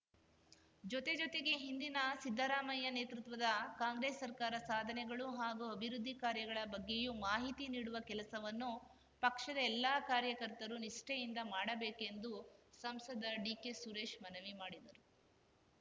ಜೊತೆ ಜೊತೆಗೆ ಹಿಂದಿನ ಸಿದ್ದರಾಮಯ್ಯ ನೇತೃತ್ವದ ಕಾಂಗ್ರೆಸ್‌ ಸರ್ಕಾರ ಸಾಧನೆಗಳು ಹಾಗೂ ಅಭಿವೃದ್ದಿ ಕಾರ್ಯಗಳ ಬಗ್ಗೆಯೂ ಮಾತಿ ನೀಡುವ ಕೆಲಸವನ್ನು ಪಕ್ಷದ ಎಲ್ಲ ಕಾರ್ಯಕರ್ತರು ನಿಷ್ಠಯಿಂದ ಮಾಡಬೇಕೆಂದು ಸಂಸದ ಡಿಕೆಸುರೇಶ್‌ ಮನವಿ ಮಾಡಿದರು